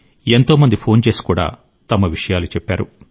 ఎంతో మంది ఫోన్ చేసి కూడా తమ విషయాలు చెప్పారు